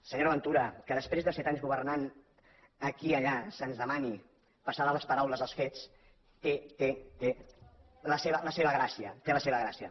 senyora ventura que després de set anys governant aquí i allà se’ns demani passar de les paraules als fets té la seva gràcia té la seva gràcia